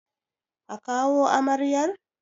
A kawo amaryar!